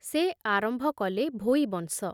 ସେ ଆରମ୍ଭ କଲେ ଭୋଇ ବଂଶ।